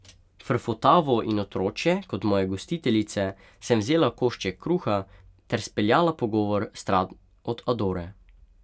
Frfotavo in otročje kot moje gostiteljice sem vzela košček kruha ter speljala pogovor stran od Adore.